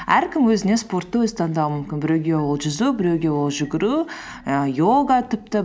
әркім өзіне спортты өзі таңдауы мүмкін біреуге ол жүзу біреуге ол жүгіру ііі йога тіпті